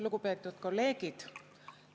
Lugupeetud kolleegid!